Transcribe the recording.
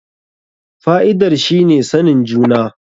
Fa'idar shi ne sanin juna.